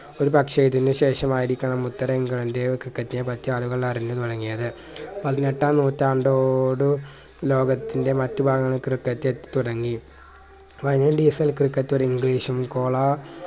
ഒരു പക്ഷെ ഇതിനു ശേഷം ആയിരിക്കണം ഇത്തരം ക്രിക്കറ്റിനെ പറ്റി ആളുകൾ അറിഞ്ഞു തുടങ്ങിയത് പതിനെട്ടാം നൂറ്റാണ്ടോടു ലോകത്തിന്റെ മാറ്റ് ഭാഗങ്ങളിൽ ക്രിക്കറ്റ് എത്തിത്തുടങ്ങി ക്രിക്കറ്റ് ഒരു english ഉം കോളാ